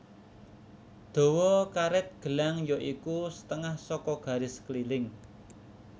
Dawa karet gelang ya iku setengah saka garis keliling